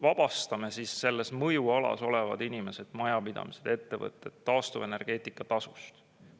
Vabastame mõjualas olevad inimesed, majapidamised, ettevõtted taastuvenergeetika tasust.